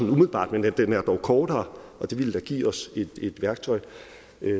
umiddelbart men den er dog kortere og det ville da give os et værktøj